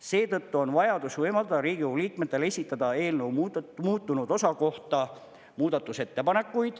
Seetõttu on vajadus võimaldada Riigikogu liikmetel esitada eelnõu muutunud osa kohta muudatusettepanekuid.